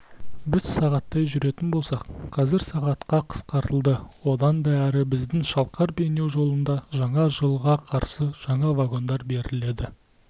біз сағаттай жүретін болсақ қазір сағатқа қысқартылды одан да әрі біздің шалқар-бейнеу жолында жаңа жылға қарсы жаңа вагондар беріледі